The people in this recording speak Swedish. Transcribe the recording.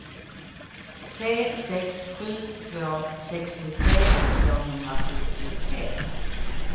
tre sex sju två sextiotre tvåhundrasjuttiotre